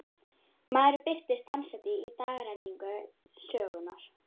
Maðurinn birtist dansandi í dagrenningu sögunnar.